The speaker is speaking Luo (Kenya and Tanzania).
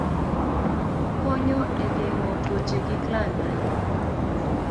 Okonyo e geng'o tuoche kik landre.